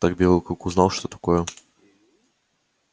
так белый клык узнал что такое